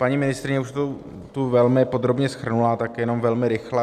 Paní ministryně už to tu velmi podrobně shrnula, tak jenom velmi rychle.